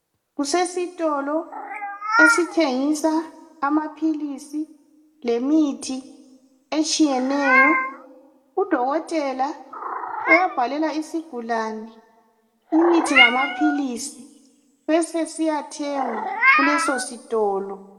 Kusesitolo esithengisa amaphilisi lemithi etshiyeneyo udokotela uyabhalela isigulane imithi lamaphilisi besesiyathengwa kuleso sitolo.